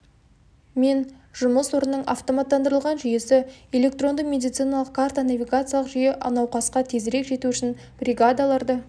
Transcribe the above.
мен жұмыс орнының автоматтандырылған жүйесі электронды медициналық карта навигациялық жүйе науқасқа тезірек жету үшін бригадаларды